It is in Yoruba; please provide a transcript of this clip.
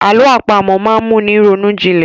Àlọ àpamọ̀ máa ń mú ni ronú jinlẹ̀.